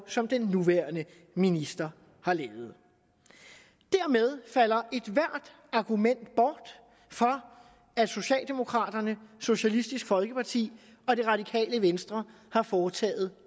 som den nuværende minister har lavet dermed falder ethvert argument for at socialdemokraterne socialistisk folkeparti og det radikale venstre har foretaget